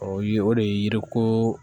O ye o de ye yiri ko